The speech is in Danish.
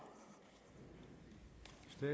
med